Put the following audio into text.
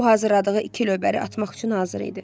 O hazırladığı iki lövbəri atmaq üçün hazır idi.